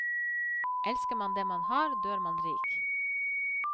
Elsker man det man har, dør man rik.